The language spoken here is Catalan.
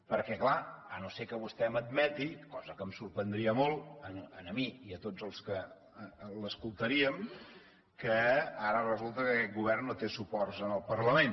perquè clar si no és que vostè m’admet cosa que em sorprendria molt a mi i a tots els que l’escoltaríem que ara resulta que aquest govern no té suports en el parlament